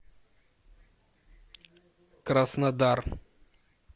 краснодар